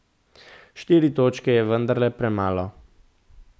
Štiri točke je vendarle premalo.